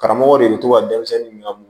Karamɔgɔ de bɛ to ka denmisɛnnin minɛ